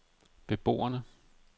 beboerne